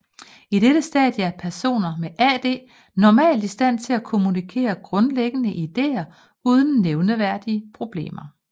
I dette stadie er personen med AD normalt i stand til at kommunikere grundlæggende ideer uden nævneværdige problemer